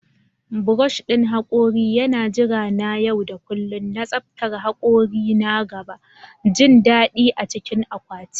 Brush ɗin hakori yana jira na yau da kullun na tsaftar hakori na gaba, jin daɗi a cikin akwati.